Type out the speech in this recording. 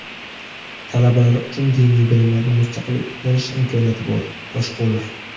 Talabalar uchun diniy bilimlarni mustaqil o‘rganish imkoniyati bor – Toshqulov.